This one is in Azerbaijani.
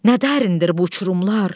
Nə dərindir bu uçurumlar.